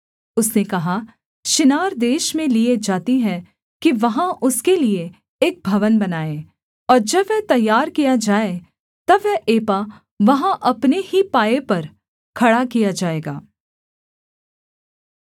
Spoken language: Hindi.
उसने कहा शिनार देश में लिए जाती हैं कि वहाँ उसके लिये एक भवन बनाएँ और जब वह तैयार किया जाए तब वह एपा वहाँ अपने ही पाए पर खड़ा किया जाएगा